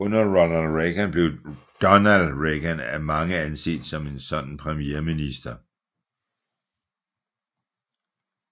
Under Ronald Reagan blev Donald Regan af mange anset som en sådan premierminister